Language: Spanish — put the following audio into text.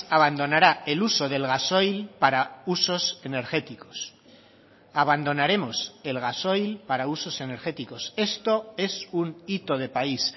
abandonará el uso del gasoil para usos energéticos abandonaremos el gasoil para usos energéticos esto es un hito de país